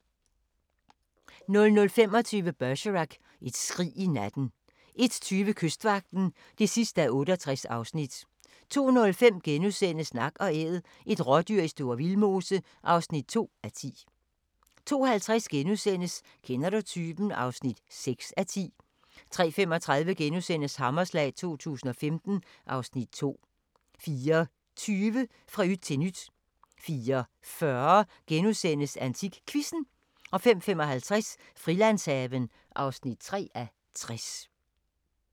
00:25: Bergerac: Et skrig i natten 01:20: Kystvagten (68:68) 02:05: Nak & Æd – et rådyr i Store Vildmose (2:10)* 02:50: Kender du typen? (6:10)* 03:35: Hammerslag 2015 (Afs. 2)* 04:20: Fra yt til nyt 04:40: AntikQuizzen * 05:55: Frilandshaven (3:60)